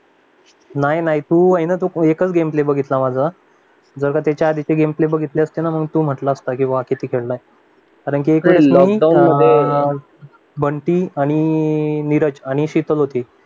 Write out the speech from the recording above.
नाही नाही नाही तू ये ना एकच गेम प्ले बघितला आहे माझा त्याच्या आधीचे गेम प्ले बघितले असते ना मग तू म्हटला असता की कैसे खेलता है कारण की एक वेळ लॉकडाऊन मध्ये बंटी आणि नीरज आणि शितल होती